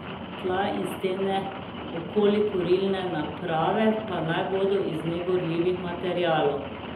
Tla in stene okoli kurilne naprave pa naj bodo iz negorljivih materialov.